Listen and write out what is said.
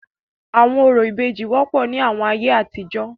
Awọn orȯ ìbejì wọpọ ni awọn aiye atijọ.